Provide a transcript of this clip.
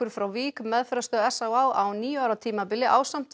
frá Vík meðferðarstöð s á á á níu ára tímabili ásamt